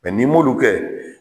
n'i m'olu kɛ